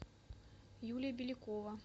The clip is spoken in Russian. юлия белякова